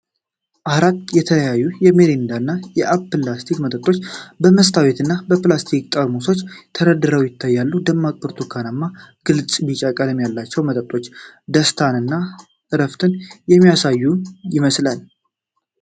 አራት የተለያዩ የሚሪንዳ እና የአፕሊ ለስላሳ መጠጦች በመስታወት እና በፕላስቲክ ጠርሙሶች ተደርድረው ይታያሉ። ደማቅ ብርቱካንማ፣ ግልጽ እና ቢጫ ቀለም ያላቸው መጠጦች ደስታን እና እረፍትን የሚያሳዩ ይመስላል።